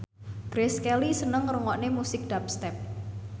Grace Kelly seneng ngrungokne musik dubstep